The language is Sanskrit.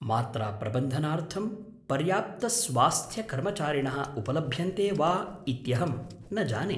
मात्राप्रबन्धनार्थं पर्याप्तस्वास्थ्यकर्मचारिणः उपलभ्यन्ते वा इत्यहं न जाने।